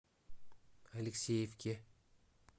алексеевке